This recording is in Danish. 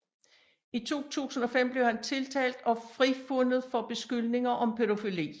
I 2005 blev han tiltalt og frifundet for beskyldninger om pædofili